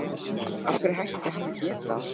Af hverju ætti hann að geta það?